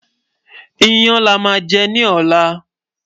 iyán là má jè ní ọlá